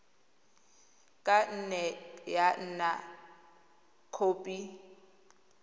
ka nne ya nna khopi